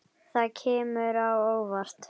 Það kemur á óvart.